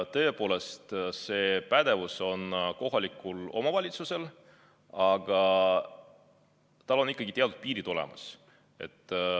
Tõepoolest, see pädevus on kohalikul omavalitsusel olemas, aga tal on ikkagi ka teatud piirid.